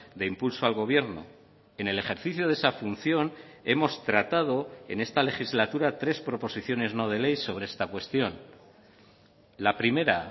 de impulso al gobierno en el ejercicio de esa función hemos tratado en esta legislatura tres proposiciones no de ley sobre esta cuestión la primera